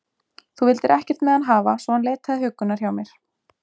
Þú vildir ekkert með hann hafa, svo hann leitaði huggunar hjá mér.